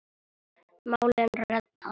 Málinu reddað.